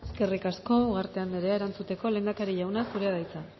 eskerrik asko ugarte anderea erantzuteko lehendakari jauna zurea da hitza